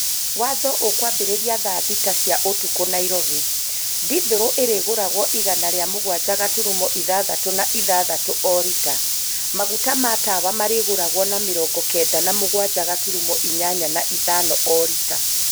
Watho ukwambĩrĩria thaa thita cia ũtukũ Nairobi . Dithũrũ ĩrĩgũragwo igana rĩa mũgwanja gaturumo ĩthathatũ na ithathatũ o rita. Maguta ma tawa marĩgũragwo na mĩrongo kenda na mũgwanja gaturumo ĩnyanya na ithano o rita.